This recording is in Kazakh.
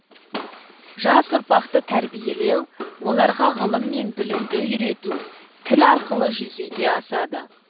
жас ұрпақты тәрбиелеу оларға ғылым мен білімді үйрету тіл арқылы жүзеге асады